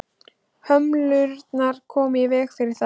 hömlurnar koma í veg fyrir það